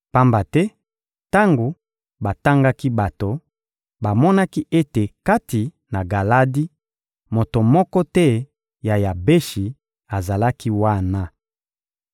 Pamba te tango batangaki bato, bamonaki ete kati na Galadi, moto moko te ya Yabeshi azalaki wana.